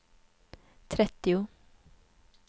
trettio